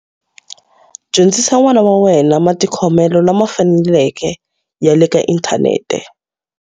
Dyondzisa n'wana wa wena matikhomelo lama faneleke ya le ka inthanete.